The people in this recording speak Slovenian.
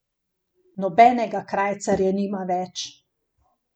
Nobenega krajcarja nima več.